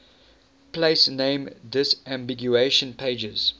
place name disambiguation pages